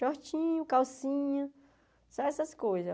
shortinho, calcinha, só essas coisas.